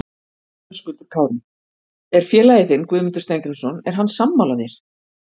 Höskuldur Kári: Er félagi þinn Guðmundur Steingrímsson, er hann sammála þér?